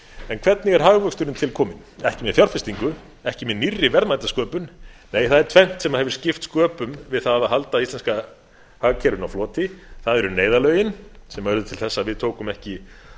en hvernig er hagvöxturinn tilkominn ekki með fjárfestingu ekki með nýrri verðmætasköpun nei það er tvennt sem hefur skipt sköpun við það að halda íslenska hagkerfinu á floti það eru neyðarlögin sem urðu til þess að við tókum ekki